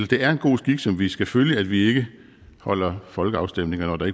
det er en god skik som vi skal følge at vi ikke holder folkeafstemninger når der